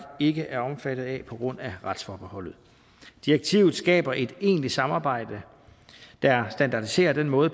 ikke er omfattet af på grund af retsforbeholdet direktivet skaber et egentligt samarbejde der standardiserer den måde